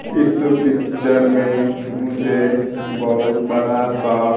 इस पिक्चर में मुझे बहुत बड़ा सा--